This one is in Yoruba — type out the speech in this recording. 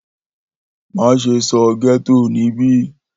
Maṣe sọ getto nibi!